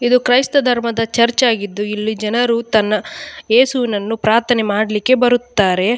ಇದು ಕ್ರೈಸ್ತ ಧರ್ಮದ ಚರ್ಚ್ ಆಗಿದ್ದು ಇಲ್ಲಿ ಜನರು ತನ್ನ ಯೇಸುವಿನನ್ನು ಪ್ರಾರ್ಥನೆ ಮಾಡ್ಲಿಕ್ಕೆ ಬರುತ್ತಾರೆ.